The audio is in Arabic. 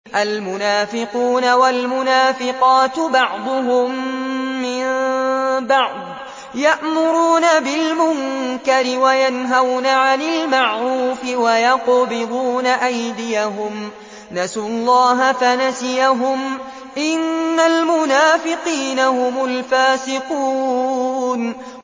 الْمُنَافِقُونَ وَالْمُنَافِقَاتُ بَعْضُهُم مِّن بَعْضٍ ۚ يَأْمُرُونَ بِالْمُنكَرِ وَيَنْهَوْنَ عَنِ الْمَعْرُوفِ وَيَقْبِضُونَ أَيْدِيَهُمْ ۚ نَسُوا اللَّهَ فَنَسِيَهُمْ ۗ إِنَّ الْمُنَافِقِينَ هُمُ الْفَاسِقُونَ